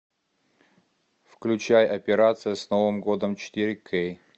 включай операция с новым годом четыре кей